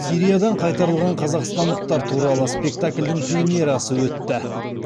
сириядан қайтарылған қазақстандықтар туралы спектакльдің премьерасы өтті